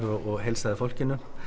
og heilsaði fólkinu